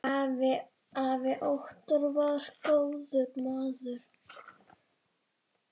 Afi Óttar var góður maður.